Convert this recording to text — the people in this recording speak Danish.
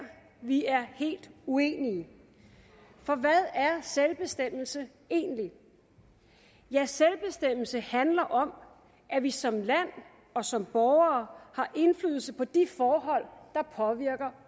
vi er helt uenige for hvad er selvbestemmelse egentlig selvbestemmelse handler om at vi som land og som borgere har indflydelse på de forhold der påvirker